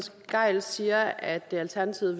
gejl siger at alternativet